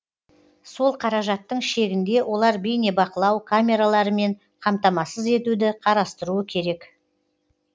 сол қаражаттың шегінде олар бейнебақылау камераларымен қамтамасыз етуді қарастыруы керек